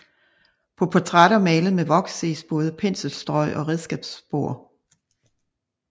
På portrætter malet med voks ses både penselstrøg og redskabsspor